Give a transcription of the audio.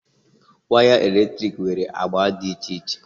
Waya eletrik nwere agba dị iche iche